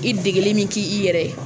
I degeli min k'i i yɛrɛ